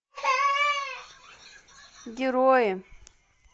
герои